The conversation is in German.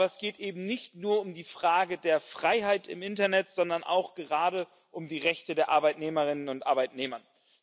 Aber es geht eben nicht nur um die Frage der Freiheit im Internet, sondern auch gerade um die Rechte der Arbeitnehmerinnen und Arbeitnehmer.